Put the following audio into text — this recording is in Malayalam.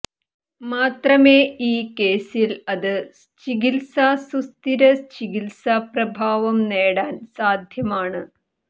മാത്രമേ ഈ കേസിൽ അത് ചികിത്സ സുസ്ഥിര ചികിത്സാ പ്രഭാവം നേടാൻ സാധ്യമാണ്